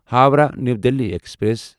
Howrah new Delhi express